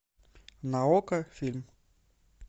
на окко фильм